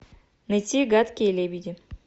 найти гадкие лебеди